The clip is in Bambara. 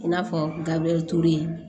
I n'a fɔ gabriel ture